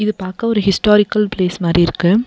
இத பாக்க ஒரு ஹிஸ்டாரிக்கல் பிளேஸ் மாரி இருக்கு.